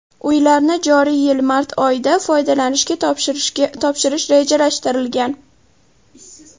Uylarni joriy yil mart oyida foydalanishga topshirish rejalashtirilgan.